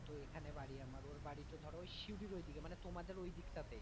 তো এখানে বাড়ি আমার ওর বাড়ি তো ধরো সিউড়ির ওইদিকে মানে তোমাদের ওই দিক টা তেই।